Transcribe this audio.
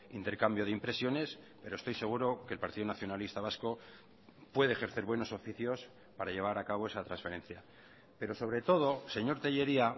intercambio de impresiones pero estoy seguro que el partido nacionalista vasco puede ejercer buenos oficios para llevar a cabo esa transferencia pero sobre todo señor tellería